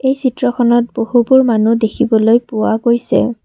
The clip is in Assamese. এই চিত্ৰখনত বহুবোৰ মানুহ দেখিবলৈ পোৱা গৈছে।